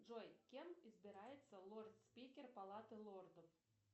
джой кем избирается лорд спикер палаты лордов